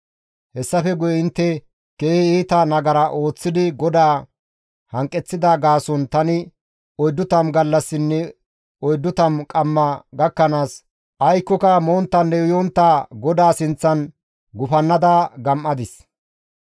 Hessafe guye intte keehi iita nagara ooththidi GODAA hanqeththida gaason tani oyddu tammu gallassinne oyddu tammu qamma gakkanaas aykkoka monttanne uyontta GODAA sinththan gufannada gam7adis.